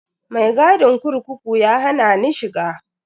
Mai gadin kurkuku ya hana ni shiga.